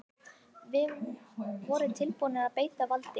Voru tilbúnir að beita valdi